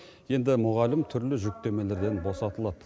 енді мұғалім түрлі жүктемелерден босатылады